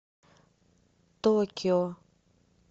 токио